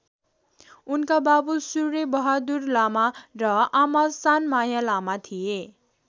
उनका बाबु सूर्यबहादुर लामा र आमा सानमाया लामा थिए।